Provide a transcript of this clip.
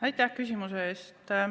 Aitäh küsimuse eest!